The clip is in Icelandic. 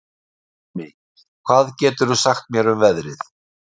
Bjarmi, hvað geturðu sagt mér um veðrið?